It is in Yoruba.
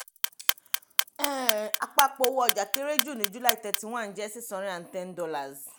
um àpapọ̀ owó ọjà kéré jù ní july thirty one jẹ́ [six hundred and ten dollars.